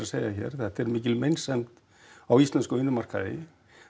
segja hér það er mikil meinsemd á íslenksum vinnumarkaði